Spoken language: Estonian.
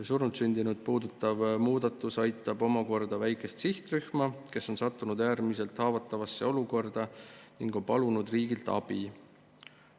Surnultsündinuid puudutav muudatus aitab omakorda väikest sihtrühma, kes on sattunud äärmiselt haavatavasse olukorda ning on palunud riigilt abi.